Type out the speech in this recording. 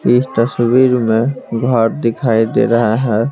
इस तस्वीर में घर दिखाई दे रहा हैं ।